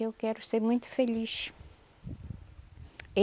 Eu quero ser muito feliz.